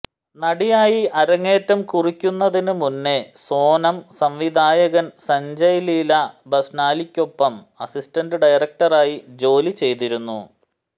നടിയായി അരങ്ങേറ്റം കുറിയ്ക്കുന്നതിന് മുന്നേ സോനം സംവിധായകന് സഞ്ജയ് ലീല ബന്സാലിയ്ക്കൊപ്പം അസിസ്റ്റന്റ് ഡയറക്ടറായി ജോലിചെയ്തിരുന്നു